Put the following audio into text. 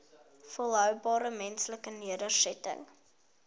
volhoubare menslike nedersettings